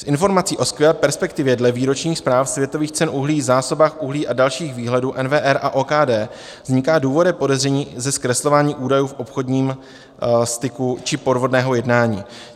Z informací o skvělé perspektivě dle výročních zpráv světových cen uhlí, zásobách uhlí a dalších výhledů NWR a OKD vzniká důvodné podezření ze zkreslování údajů v obchodním styku či podvodného jednání.